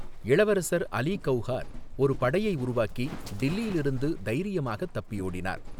இளவரசர் அலி கவுஹார் ஒரு படையை உருவாக்கி, டில்லியிலிருந்து தைரியமாக தப்பியோடினார்.